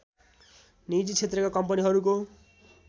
निजी क्षेत्रका कम्पनीहरूको